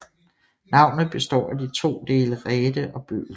Navnet består af de to dele ræte og bøl